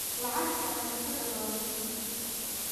Lacagta cuntada waa muhiim.